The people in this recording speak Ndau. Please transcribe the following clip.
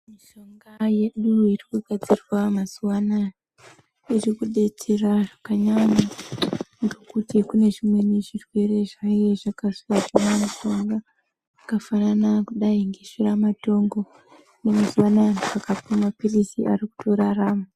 Mishonga yedu iri kugadzirwa mazuva anaya, iri kudetsera zvakanyanya ngekuti kune zvimweni zvirwere zviye zvakashata zvakadai ngeshura matongo, mazua anaya anhu angatomwa mapirizi ari kutorarama.